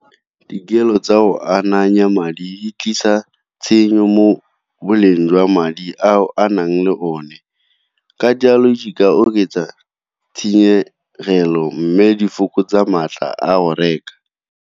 Dikelo tsa go ananya madi tlisa tshenyo mo boleng jwa madi ao a nang le one. Ka jalo di ka oketsa tshenyegelo mme di fokotsa maatla a go reka.